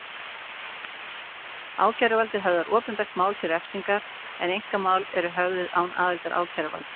Ákæruvaldið höfðar opinber mál til refsingar en einkamál eru höfðuð án aðildar ákæruvalds.